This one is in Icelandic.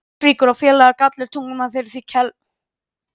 Ástríkur og félaga eru Gallar og tungumál þeirra því keltneskt.